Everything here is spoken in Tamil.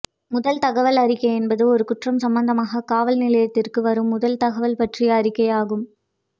முதல் தகவல் அறிக்கை என்பது ஒரு குற்றம் சம்பந்தமாக காவல்நிலையத்திற்கு வரும் முதல் தகவல் பற்றிய அறிக்கையாகும்